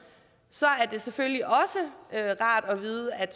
så er det selvfølgelig rart at vide at